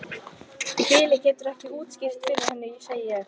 Í bili geturðu ekkert útskýrt fyrir henni, segi ég.